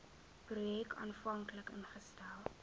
projek aanvanklik ingestel